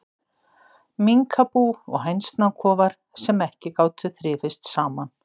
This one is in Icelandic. Minkabú og hænsnakofar, sem ekki gátu þrifist saman.